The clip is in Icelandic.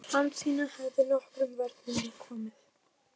Hansína hefði nokkrum vörnum við komið.